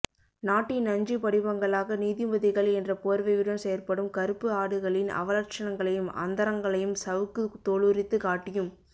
நாட்டின் நஞ்சு படிமங்களாக நீதிபதிகள் என்ற போர்வையுடன் செயற்படும் கறுப்பு ஆடுகளின் அவலட்ஷணங்களையும் அந்தரங்கங்களையும் சவுக்கு தோலுரித்து காட்டியும்